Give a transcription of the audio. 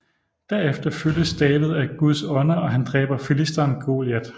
Derefter fyldes David af Guds Ånd og han dræber filisteren Goliat